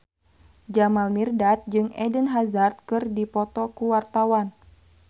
Jamal Mirdad jeung Eden Hazard keur dipoto ku wartawan